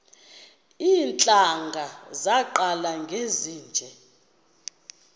iintlanga zaqala ngezinje